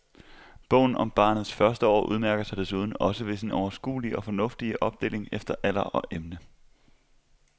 Bogen om barnets første år udmærker sig desuden også ved sin overskuelige og fornuftige opdeling efter alder og emne.